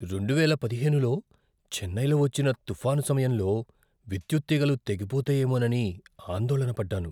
రెండువేల పదిహేనులో చెన్నైలో వచ్చిన తుఫాను సమయంలో విద్యుత్ తీగలు తెగిపోతాయేమోనని ఆందోళన పడ్డాను.